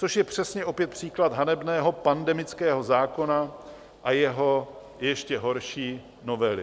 Což je přesně opět příklad hanebného pandemického zákona a jeho ještě horší novely.